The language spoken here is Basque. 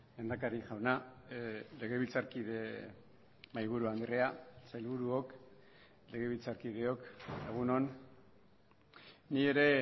lehendakari jauna legebiltzarkide mahaiburu andrea sailburuok legebiltzarkideok egun on ni ere